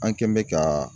An kɛn bɛ ka